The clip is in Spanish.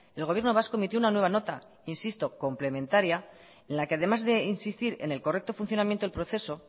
el gobierno vasco emitió una nueva nota insisto complementaria en la que además de insistir en el correcto funcionamiento del proceso